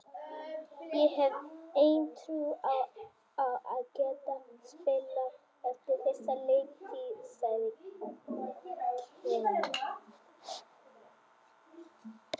Ég hef enn trú á að geta spilað eftir þessa leiktíð, sagði King.